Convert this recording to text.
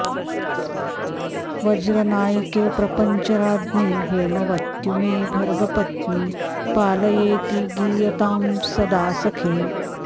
व्रजनायिके प्रपञ्चराज्ञि हैमवत्युमे भर्गपत्नि पालयेति गीयतां सदा सखे